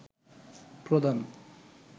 প্রদান